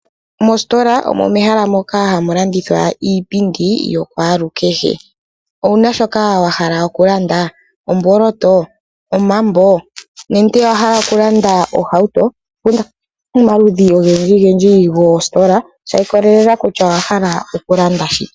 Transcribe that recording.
Mositola omo mehala moka hamulandithwa iipindi yokwalukehe, owuna shoka wa hala okulanda, omboloto, omambo ninge owa hala okulanda ohauto inda omaludhi ogendji gendji gositola shikolelela kutya owa hala okulanda shike.